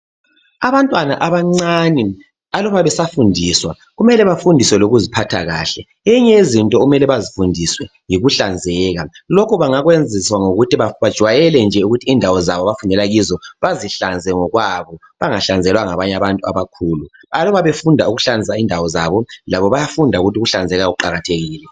Abantwana abancane, aluba besafundiswa, kumele bafundiswe lokuziphatha kahle. Enye yezinto okumele bayifundiswe yikuhlanzeka. Lokhu bangakwenziswa nje ngokuthi bajayele ukuthi indawo zabo abafundela kuzo, bazihlanzele bona ngokwano. Bangahlanzelwa ngabanye abantu abakhulu. Uma befunda ukuhlanza indawo zabo. Labo bayafunda ukuthi ukuhlanzeka kuqakathekile.